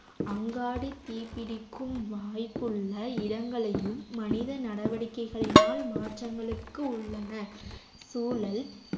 அங்காடி தீப்பிடிக்கும் வாய்ப்புள்ள இடங்களையும் மனித நடவடிக்கைகளினால் மாற்றங்களுக்கு உள்ளன சூழல்